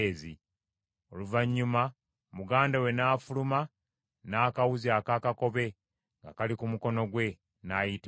Oluvannyuma muganda we n’afuluma n’akawuzi akaakakobe nga kali ku mukono gwe, n’ayitibwa Zeera.